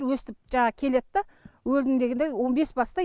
өстіп жаңағы келеді да өлдім дегенде он бес басты